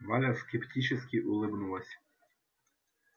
валя скептически улыбнулась